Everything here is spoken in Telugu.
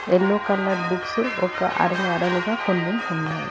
ఎల్లో కలర్ బుక్స్ ఒక అరలు అరలుగా కొన్ని ఉన్నాయి.